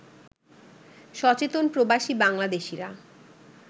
সচেতন প্রবাসী বাংলাদেশিরা